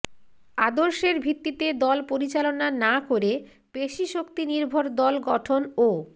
আদর্শের ভিত্তিতে দল পরিচালনা না করে পেশিশক্তিনির্ভর দল গঠন ও